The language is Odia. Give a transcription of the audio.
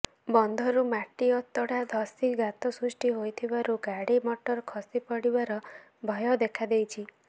ବନ୍ଧରୁ ମାଟି ଅତଡ଼ା ଧସି ଗାତ ସୃଷ୍ଟି ହୋଇଥିବାରୁ ଗାଡ଼ି ମଟର ଖସି ପଡ଼ିବାର ଭୟ ଦେଖାଦେଇଛି